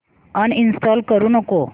uninstall करू नको